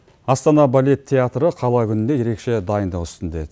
астана балет театры қала күніне ерекше дайындық үстінде